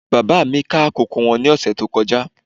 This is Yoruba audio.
Bàbá mi ká kókò wọn ní ọ̀sẹ̀ tó kọjá